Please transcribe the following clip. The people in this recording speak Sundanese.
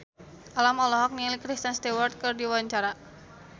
Alam olohok ningali Kristen Stewart keur diwawancara